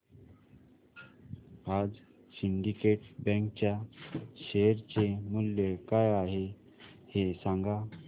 आज syndicate bank च्या share चे मूल्य काय आहे हे सांगा